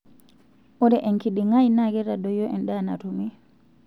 Ore enkiding'ai naa keitadoyio endaa natumi.